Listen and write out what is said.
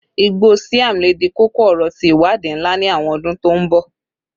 igbo siam le di koko-ọrọ ti iwadii nla ni awọn ọdun to n bọ